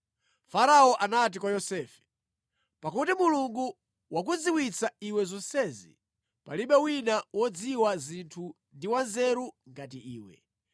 Farao anati kwa Yosefe, “Pakuti Mulungu wakudziwitsa iwe zonsezi, palibe wina wodziwa zinthu ndi wanzeru ngati iwe.